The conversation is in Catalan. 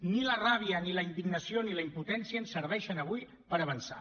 ni la ràbia ni la indignació ni la impotència ens serveixen avui per avançar